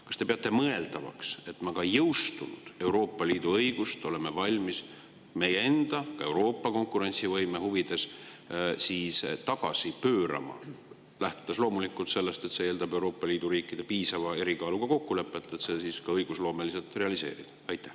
Kas te peate mõeldavaks, et me oleme valmis ka jõustunud Euroopa Liidu õigust meie enda ja Euroopa konkurentsivõime huvides tagasi pöörama, lähtudes loomulikult sellest, et see eeldab Euroopa Liidu riikide piisava erikaaluga kokkulepet, et see siis õigusloomeliselt realiseerida?